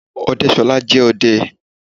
Ọdẹ́ṣọlá jẹ́ ọdẹ.